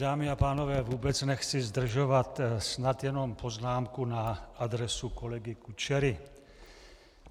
Dámy a pánové, vůbec nechci zdržovat, snad jenom poznámku na adresu kolegy Kučery.